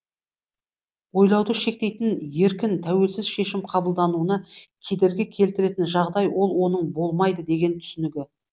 ойлауды шектейтін еркін тәуелсіз шешім қабылдануына кедергі келтіретін жағдай ол оның болмайды деген түсінігі